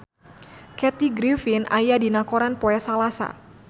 Kathy Griffin aya dina koran poe Salasa